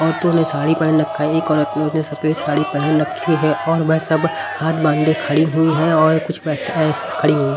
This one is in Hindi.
औरतों ने साड़ी पहन रखा एक औरत ने उसने सफेद साड़ी पहन रखी है और वह सब हाथ बांधे खड़ी हुई हैं और कुछ बै अह खड़ी हुई हैं।